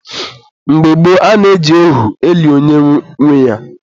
Mgbe gboo, a na-eji ohu eli onye nwe ya.